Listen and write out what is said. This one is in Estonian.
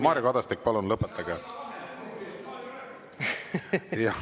Mario Kadastik, palun lõpetage.